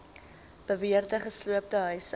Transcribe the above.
beweerde gesloopte huise